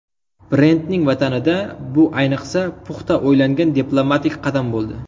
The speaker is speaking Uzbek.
Brendning vatanida bu ayniqsa puxta o‘ylangan diplomatik qadam bo‘ldi.